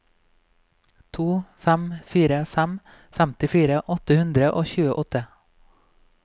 to fem fire fem femtifire åtte hundre og tjueåtte